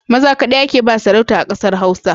Maza kaɗai ake ba sarauta a kasan Hausa